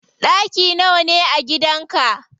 Ɗaki nawa ne a gidan ka?